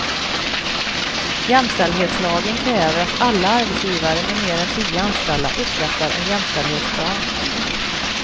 Jämställdhetslagen kräver att alla arbetsgivare med mer än tio anställda upprättar en jämställdhetsplan.